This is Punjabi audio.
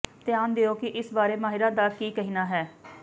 ਧਿਆਨ ਦਿਓ ਕਿ ਇਸ ਬਾਰੇ ਮਾਹਰਾਂ ਦਾ ਕੀ ਕਹਿਣਾ ਹੈ